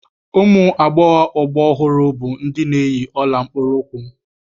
Ụmụ agbọghọ agba ọhụrụ bụ ndị na-eyi ọla mkpụrụụkwụ